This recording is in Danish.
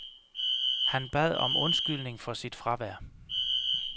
Han bad om undskyldning for sit fravær.